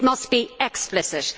It must be explicit.